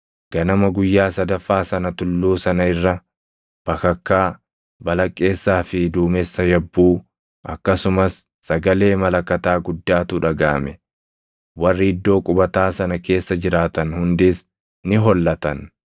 Ganama guyyaa sadaffaa sana tulluu sana irra bakakkaa, balaqqeessaa fi duumessa yabbuu, akkasumas sagalee malakataa guddaatu dhagaʼame. Warri iddoo qubataa sana keessa jiraatan hundis ni hollatan.